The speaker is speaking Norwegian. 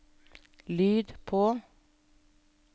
lyd på